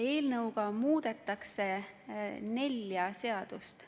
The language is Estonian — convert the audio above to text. Eelnõuga muudetakse nelja seadust.